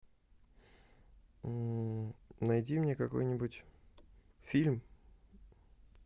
найди мне какой нибудь фильм